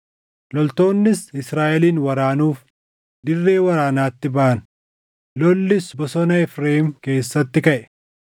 Loltoonnis Israaʼelin waraanuuf dirree waraanaatti baʼan; lollis bosona Efreem keessatti kaʼe.